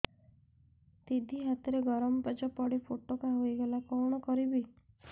ଦିଦି ହାତରେ ଗରମ ପେଜ ପଡି ଫୋଟକା ହୋଇଗଲା କଣ କରିବି